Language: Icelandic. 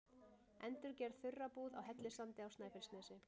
Endurgerð þurrabúð á Hellissandi á Snæfellsnesi.